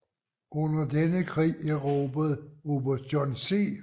Under denne krig erobrede oberst John C